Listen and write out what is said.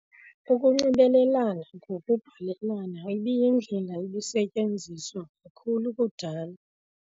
Ukunxibelelana ngokubhalelana ibiyindlela ebisetyenziswa kakhulu kudala.